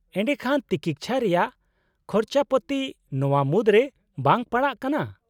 -ᱮᱰᱮᱠᱷᱟᱱ ᱛᱤᱠᱤᱪᱷᱟ ᱨᱮᱭᱟᱜ ᱠᱷᱚᱨᱪᱟᱯᱟᱛᱤ ᱱᱚᱶᱟ ᱢᱩᱫᱨᱮ ᱵᱟᱝ ᱯᱟᱲᱟᱜ ᱠᱟᱱᱟ ?